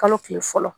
Kalo tile fɔlɔ